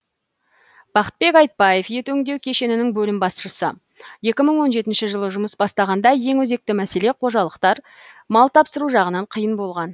бақытбек айтбаев ет өңдеу кешенінің бөлім басшысы жылы жұмыс бастағанда ең өзекті мәселе қожалықтар мал тапсыру жағынан қиын болған